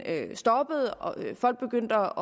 stoppede og folk begyndte